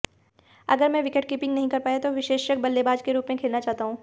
अगर मैं विकेटकीपिंग नहीं कर पाया तो विशेषज्ञ बल्लेबाज के रूप में खेलना चाहता हूं